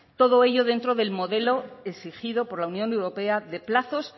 todo ello dentro del modelo exigido por la unión europea de plazos